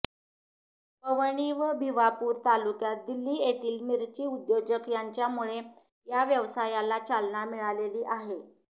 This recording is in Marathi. पवनी व भिवापूर तालुक्यात दिल्ली येथील मिरची उद्योजक यांच्यामुळे या व्यवसायाला चालना मिळालेली आहे